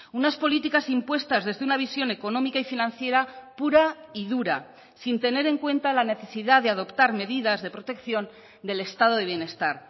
unas políticas impuestas desde una visión económica y financiera pura y dura sin tener en cuenta la necesidad de adoptar medidas de protección del estado de bienestar